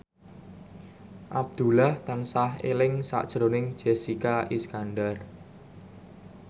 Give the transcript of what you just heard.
Abdullah tansah eling sakjroning Jessica Iskandar